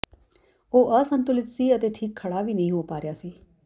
ਉਹ ਅਸੰਤੁਲਿਤ ਸੀ ਅਤੇ ਠੀਕ ਖੜਾ ਵੀ ਨਹੀਂ ਹੋ ਪਾ ਰਿਹਾ ਸੀ